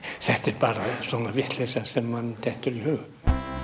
þetta er bara einhver vitleysa sem manni dettur í hug